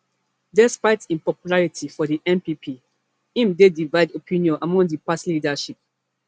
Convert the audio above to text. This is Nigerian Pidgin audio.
despite im popularity for di npp im dey divide opinion among di party leadership